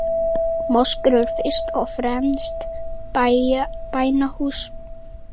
Moskur eru fyrst og fremst bænahús.